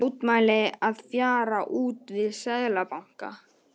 Mótmæli að fjara út við Seðlabanka